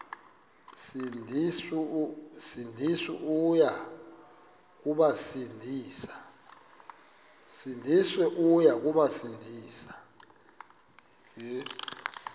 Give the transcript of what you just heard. sindisi uya kubasindisa